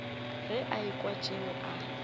ge a ekwa tšeo a